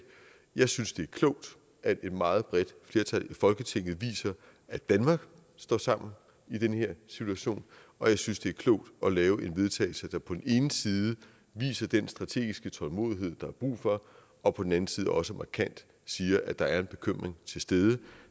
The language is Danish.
jeg synes det er klogt at et meget bredt flertal i folketinget viser at danmark står sammen i den her situation og jeg synes det er klogt at lave et vedtagelse der på den ene side viser den strategiske tålmodighed der er brug for og på den anden side også markant siger at der er en bekymring til stede